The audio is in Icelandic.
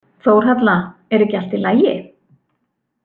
Þórhalla, er ekki allt í lagi?